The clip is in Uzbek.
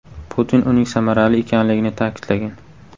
Putin uning samarali ekanligini ta’kidlagan.